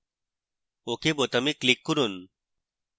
ok বোতামে click করুন